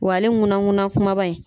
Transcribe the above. Wa ale nkuna nkuna kumaba in